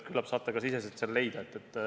Küllap leiate selle ka ise.